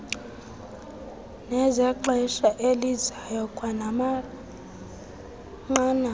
nezexesha elizayo kwanamanqanaba